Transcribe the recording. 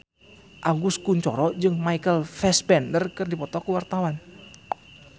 Agus Kuncoro jeung Michael Fassbender keur dipoto ku wartawan